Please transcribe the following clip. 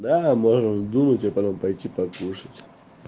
да можно дунуть и потом пойти покушать